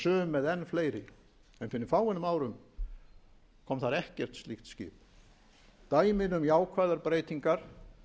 sum með enn fleiri fyrir fáeinum árum kom þar ekkert slíkt skip dæmin um jákvæðar breytingar